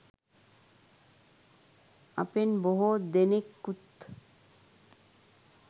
අපගෙන් බොහෝ දෙනෙකුත්